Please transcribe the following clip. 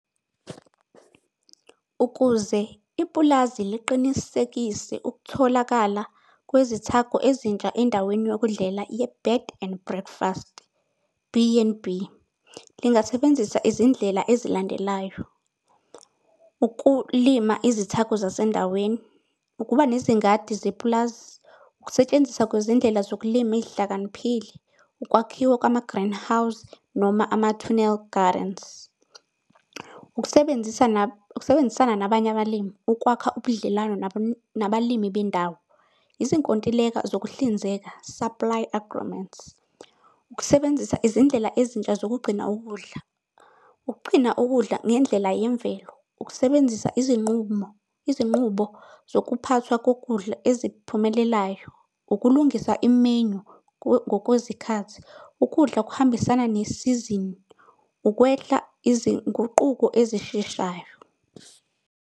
Ukuze ipulazi liqinisekise ukutholakala kwezithako ezintsha endaweni yokudlela ye-Bed and Breakfast B_N_B. Lingasebenzisa izindlela ezilandelayo, ukulima izithako zasendaweni, ukuba nezingadi zepulazi, ukusetshenziswa kwezindlela zokulima ey'hlakaniphile, ukwakhiwa kwama-greenhouse noma ama-tunnel gardens. Ukusebenzisa ukusebenzisana nabanye abalimi. Ukwakha ubudlelwane nabalimi bendawo, izinkontileka zokuhlinzeka supply agreements. Ukusebenzisa izindlela ezintsha zokugcina ukudla, ukugcina ukudla ngendlela yemvelo, ukusebenzisa izinqumo, izinqubo zokuphathwa kokudla eziphumelelayo, ukulungisa imenyu ngokwezikhathi ukudla okuhambisana ne-season, ukwehla izinguquko ezisheshayo.